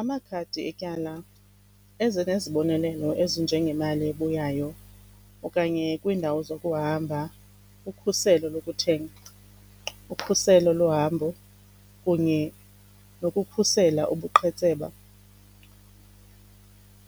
Amakhadi etyala eze nezibonelelo ezinjengemali ebuyayo okanye kwiindawo zokuhamba, ukhuselo lokuthenga, ukhuselo lohambo kunye nokukhusela ubuqhetseba.